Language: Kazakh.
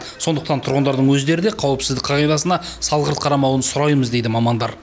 сондықтан тұрғандардың өздері де қауіпсіздік қағидасына салғырт қарамауларын сұраймыз дейді мамандар